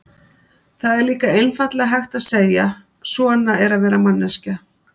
Það er líka einfaldlega hægt að segja: svona er að vera manneskja.